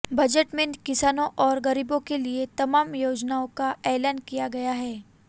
budget में किसानों और गरीबों के लिए तमाम योजनाओं का ऐलान किया गया है